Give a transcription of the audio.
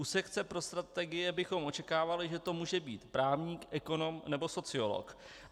U sekce pro strategie bychom očekávali, že to může být právník, ekonom nebo sociolog.